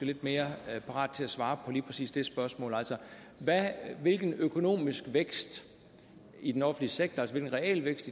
lidt mere parat til at svare på lige præcis det spørgsmål altså hvilken økonomisk vækst i den offentlige sektor altså realvækst